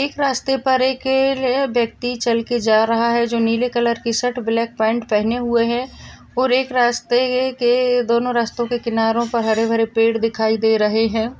एक रास्ते पर एक क व्यक्ति चल के जा रहा है जो नील कलर की शर्ट ब्लैक पैंट पहने हुए है और एक रास्ते है के दोनों रास्तों के किनारों पर हरे-भरे पेड़ दिखाई दे रहे हैं।